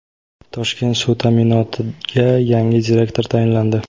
"Toshkent suv ta’minoti"ga yangi direktor tayinlandi.